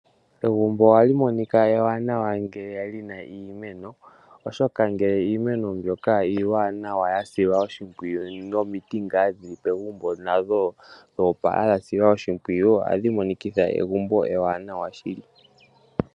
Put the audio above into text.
Egumbo ohali monika ewanawa ngele lina iimeno, oshoka ngele iimeno mbyoka iiwananawa yasilwa oshimpwiyu, noshowo omiti dhili pegumbo dho opala, dhasilwa oshimpwiyu, ohadhi monikitha egumbo ewanawa shili.